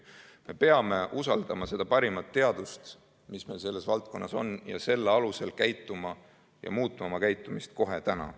Me peame usaldama seda parimat teadust, mis meil selles valdkonnas on, ning selle alusel muutma oma käitumist kohe täna.